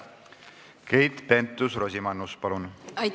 Keit Pentus-Rosimannus, palun!